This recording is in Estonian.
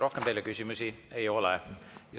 Rohkem teile küsimusi ei ole.